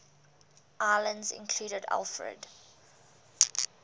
islands included alfred